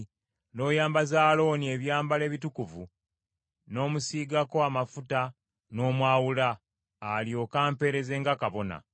n’oyambaza Alooni ebyambalo ebitukuvu n’omusiigako amafuta n’omwawula, alyoke ampeereze nga kabona.